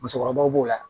Musokɔrɔbaw b'o la